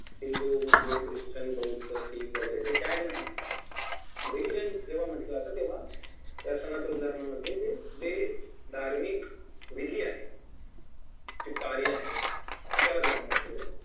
Hindu Muslim Christian बौद्ध शीख वगैरे हे टॅग नाही religion जेव्हा म्हटलं जात तेव्हा या सनातन धर्मामध्ये जे जे धार्मिक विधी आहेत जे कार्य आहेत त्याला धर्म म्हंटलेलं आहे